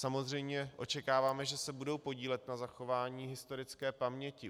Samozřejmě očekáváme, že se budou podílet na zachování historické paměti.